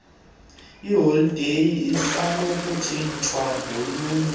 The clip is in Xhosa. iholide isenokutshintshwa ngolunye